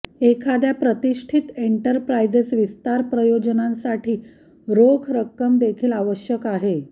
एखाद्या प्रतिष्ठित एंटरप्राईजेस विस्तार प्रयोजनांसाठी रोख रक्कम देखील आवश्यक आहे